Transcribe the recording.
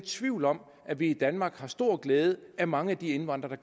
tvivl om at vi i danmark har stor glæde af mange af de indvandrere